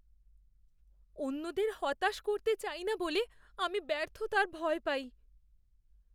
অন্যদের হতাশ করতে চাই না বলে আমি ব্যর্থতার ভয় পাই।